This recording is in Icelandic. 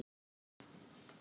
Marteinn var í nokkrum vanda.